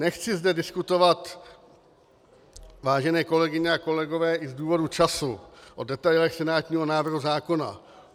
Nechci zde diskutovat, vážené kolegyně a kolegové, i z důvodu času o detailech senátního návrhu zákona.